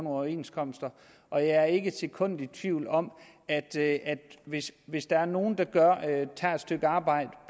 overenskomster og jeg er ikke et sekund i tvivl om at hvis hvis der er nogen der tager et stykke arbejde